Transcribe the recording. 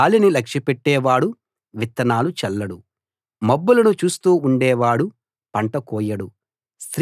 గాలిని లక్ష్యపెట్టేవాడు విత్తనాలు చల్లడు మబ్బులను చూస్తూ ఉండేవాడు పంట కోయడు